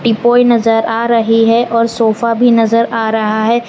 नजर आ रही है और सोफा भी नजर आ रहा है।